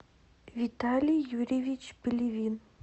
виталий юрьевич пелевин